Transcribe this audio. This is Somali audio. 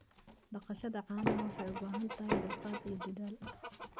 Dhaqashada caanaha waxay u baahan tahay dulqaad iyo dadaal.